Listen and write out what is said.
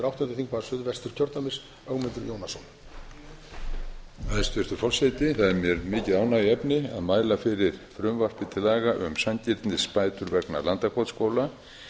hæstvirtur forseti það er mér mikið ánægjuefni að mæla fyrir frumvarpi til laga um sanngirnisbætur vegna landakotsskóla